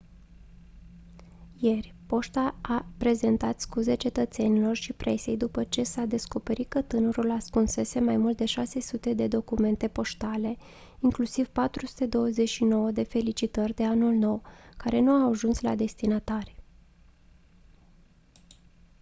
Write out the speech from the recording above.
ieri poșta a prezentat scuze cetățenilor și presei după ce s-a descoperit că tânărul ascunsese mai mult de 600 de documente poștale inclusiv 429 de felicitări de anul nou care nu au ajuns la destinatari